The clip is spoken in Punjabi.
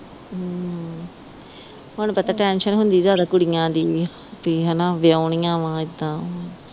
ਹੁਣ ਪੁੱਤ ਟੈਂਸ਼ਨ ਹੁੰਦੀ ਜਿਆਦਾ ਕੁੜੀਆਂ ਦੀ ਪੀ ਹਨਾ ਵਿਹਾਉਣੀਆਂ ਵਾ ਏਦਾ ਵਾ